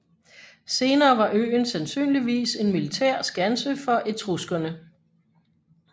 Senere var øen sandsynligvis en militær skanse for etruskerne